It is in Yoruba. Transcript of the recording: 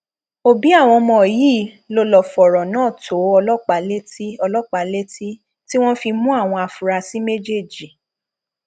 òbí àwọn ọmọ yìí ló lọọ fọrọ náà tó ọlọpàá létí ọlọpàá létí tí wọn fi mú àwọn afurasí méjèèjì